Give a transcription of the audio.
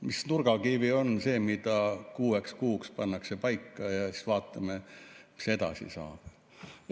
Mis nurgakivi on see, mis pannakse kuueks kuuks paika ja siis vaatame, mis edasi saab?